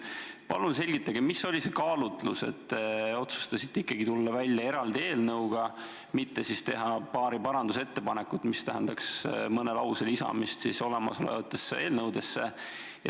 Palun selgitage, mis oli see kaalutlus, et te otsustasite ikkagi tulla välja eraldi eelnõuga, mitte teha paari parandusettepanekut, mis tähendaks mõne lause lisamist olemasolevatesse eelnõudesse.